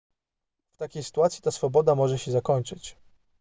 w takiej sytuacji ta swoboda może się zakończyć